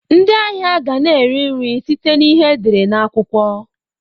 Ndị ahịa ga na eri nri site na ihe e dere na akwukwo.